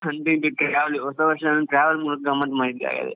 ಅಂತು ಇಂತು ಹೊಸ ವರ್ಷ travel ಮೂಲಕ ಗಮ್ಮತ್ ಮಾಡಿದ್ದಿ ಹಾಗಾದ್ರೆ.